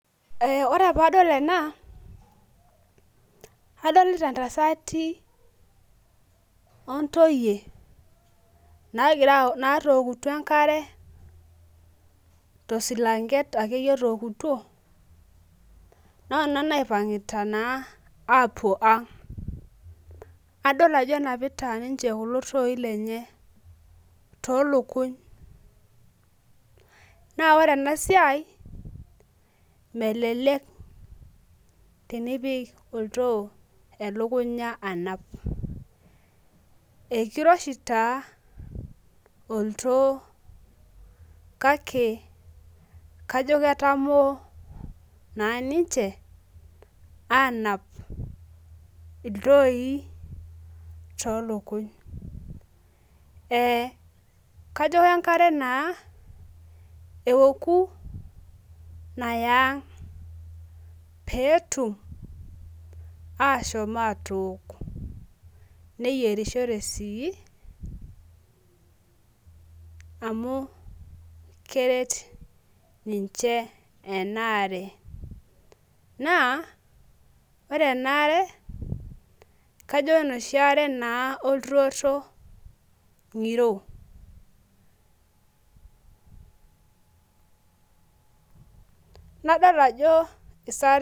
Ee ore pee adol ena, adolita ntasati ontoyie naagira aouke enkare tosilanke akeyie otookutuo. noona naipangita naa aapuo ang. adol ajo enapita ninche kulo tooi lenye. toolukuny. naa ore ena siai, melelek tenipik oltoo elukunya anap. ekiroshi taa oltoo kake kajo ketamoo naa ninche aanap iltooi toolukuny. kako kenkare naa eouku Naya ang. pee etum ashom aatook. neyierishore sii ,amu keret ninche ena are. naa ore ena are kajo enoshi are naa olturoto ngiro.